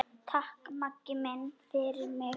Takk, Maggi minn, fyrir mig.